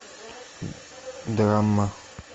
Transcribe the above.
драма